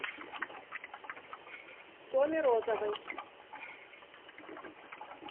томе розовой